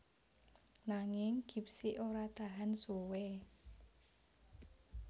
Nanging Gipsy ora tahan suwé